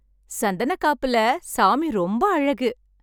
சந்தனக்காப்புல சாமி ரொம்ப அழகு!